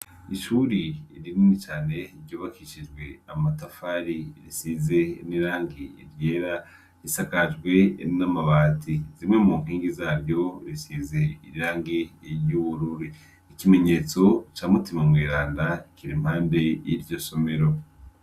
Ishuri rinini cane ryubakishijwe amatafari risize nirangi iryera risakajwe ninamabati zimwe mu nkingi zaryo risize irirangi riryuwururi ikimenyetso ca mutima mw'iranda kira mpambe y'iryo somero.